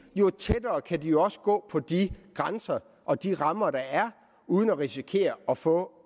jo tættere kan de også gå på de grænser og de rammer der er uden at risikere at få